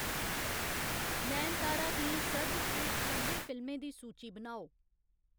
नयनतारा दियें सर्वश्रेश्ठ पं'जें फिल्में दी सूची बनाओ